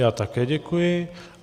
Já také děkuji.